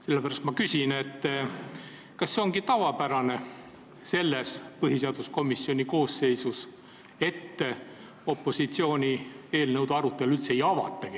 Sellepärast ma küsin, kas see ongi selle põhiseaduskomisjoni koosseisu puhul tavaline, et opositsiooni eelnõude arutelu üldse ei avatagi.